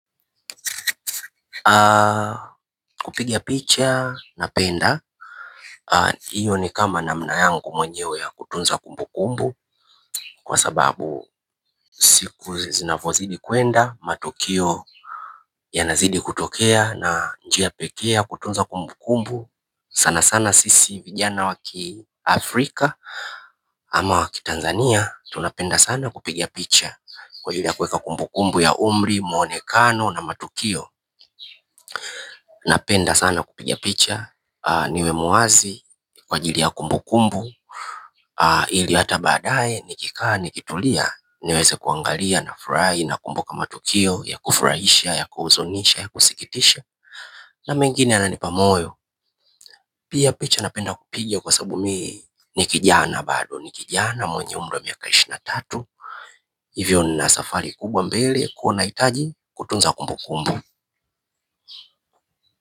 Kupigia picha, napenda iyo ni kama namna yangu mwenyewe ya kutunza kumbu kumbu kwa sababu siku zinavozidi kwenda matukio yanazidi kutokea na njia pekee ya kutunza kumbu kumbu sana sana sisi vijana wa ki Afrika ama wa ki Tanzania. Tunapenda sana kupiga picha kwa ajili ya kuweka kumbu kumbu ya umri, mwonekano na matukio napenda sana kupiga picha niwe muwazi kwa ajili ya kumbu kumbu ili hata baadaye nikikaa nikitulia niweze kuangalia nafurahi nakumbuka matukio ya kufurahisha ya kuhuzunisha ya kusikitisha na mengine yananipa moyo pia picha napenda kupiga kwa sababu mimi ni kijana bado ni kijana mwenye umri wa miaka ishirini na tatu hivyo nina safari kubwa mbele huwa nahitaji kutunza kumbu kumbu.